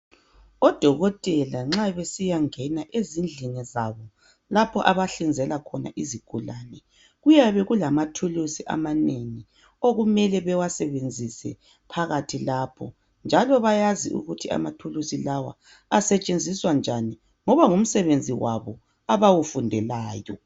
Odokotela nxa besiyangena ezindlini zabo lapho abahlinzela khona izigulane. Kuyabe kulamathulusi amanengi okumele bewasebenzise phakathi lapho njalo bayazi ukuthi amathulusi lawa asetshenziswa njani ngoba ngumsebenzi wabo abawufundelayo.